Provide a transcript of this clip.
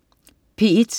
P1: